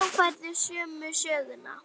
Þá færðu sömu söguna.